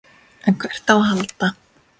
En hvert á að halda?